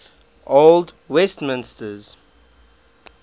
old westminsters